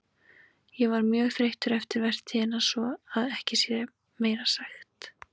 Ég var mjög þreyttur eftir vertíðina svo að ekki sé meira sagt.